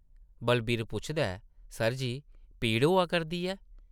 बलवीर पुछदा ऐ, सर जी, पीड़ होआ करदी ऐ?